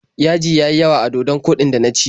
Yaji ya yi yawa a dodon koɗin da na ci.